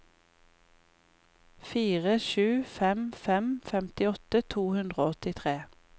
fire sju fem fem femtiåtte to hundre og åttitre